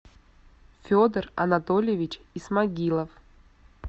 федор анатольевич исмагилов